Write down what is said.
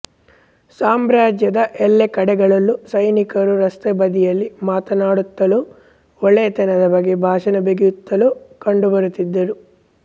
ಸಾಮ್ರ್ಯಾಜ್ಯದ ಎಲ್ಲ ಕಡೆಗಳಲ್ಲೂ ಸಿನಿಕರು ರಸ್ತೆ ಬದಿಯಲ್ಲಿ ಮಾತನಾಡುತ್ತಲೋ ಒಳ್ಳೆಯತನದ ಬಗ್ಗೆ ಭಾಷಣ ಬಿಗಿಯುತ್ತಲೋ ಕಂಡುಬರುತ್ತಿದ್ದರು